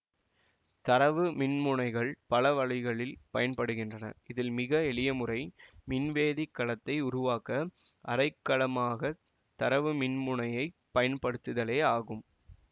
தரவு மின்முனைகள் பல வழிகளில் பயன்படுகின்றன இதில் மிக எளியமுறை மின்வேதிக் கலத்தை உருவாக்க அரைக்கலமாகத் தரவு மின்முனையைப் பயன்படுத்துதலே ஆகும்